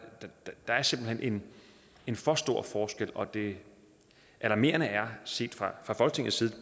er simpelt hen en for stor forskel og det alarmerende er set fra folketingets side